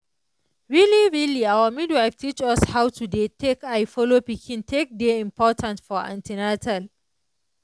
really really our midwife teach us how to dey take eye follow pikin take dey important for an ten atal.